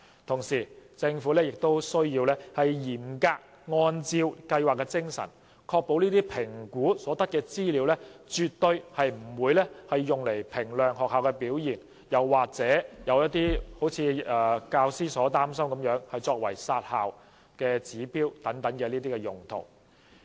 同時，政府亦須嚴格按照計劃的精神，確保評估所得的資料絕對不會用作衡量學校的表現，又或如部分教師所擔心作為"殺校"指標等用途。